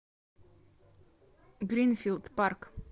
гринфилд парк